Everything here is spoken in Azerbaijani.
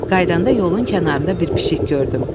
Qayıdanda yolun kənarında bir pişik gördüm.